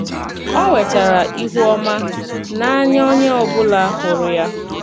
Ọ Nwetara Ịhụ Ọma “N’ànya Onye Ọ Bụla Hụrụ Ya”